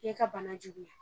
E ka bana juguya.